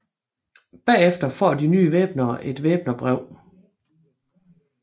Bagefter får de nye væbnere et væbnerbrev